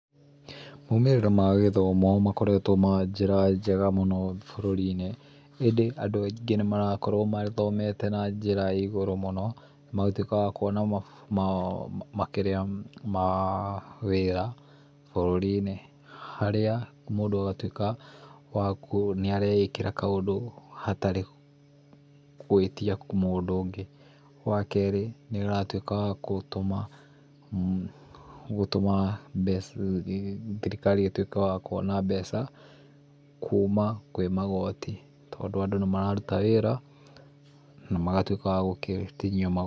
Moimĩrĩra magĩthomo makoretwo na njĩra njega mũno bũrũri-inĩ ĩndĩ andũ aingĩ nĩmarakorwo mathomete na njĩra ĩigũrũ mũno nagũtuĩka wakuona makĩrĩa, mawĩra bũrũri-inĩ, harĩa mũndũ agatuĩka wakũ, nĩareĩkĩra kaũndũ hatarĩ gwĩtia mũndũ ũngĩ. Wakerĩ, nĩũratuĩka wagũtũma mbeca, thirikari ĩtuĩke yakwona mbeca kuma kwĩmagoti tondũ andũ nĩmararuta wĩra na magatuĩka akũrutithio magoti.